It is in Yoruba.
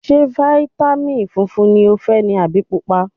Ṣé fáítámìn funfun ni o fẹ́ ni àbí Pupa?